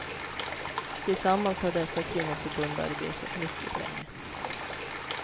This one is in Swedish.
Tillsammans har dessa kvinnoförbund arbetat mycket länge.